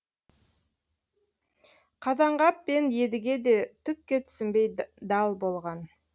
қазанғап пен едіге де түкке түсінбей дал болған